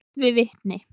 Rætt við vitni.